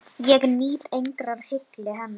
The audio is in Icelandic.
Ég nýt engrar hylli hennar!